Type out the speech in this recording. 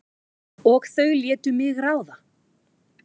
Og þau létu mig ráða.